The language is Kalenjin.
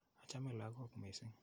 Achame lagok missing'.